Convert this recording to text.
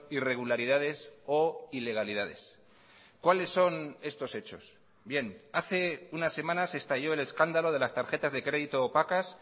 irregularidades o ilegalidades cuáles son estos hechos bien hace unas semanas estalló el escándalo de las tarjetas de crédito opacas